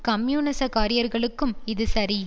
கம்யூனிச காரியாளர்களுக்கும் இது சரி